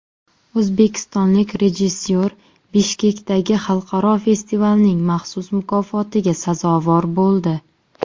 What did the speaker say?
O‘zbekistonlik rejissyor Bishkekdagi xalqaro festivalning maxsus mukofotiga sazovor bo‘ldi.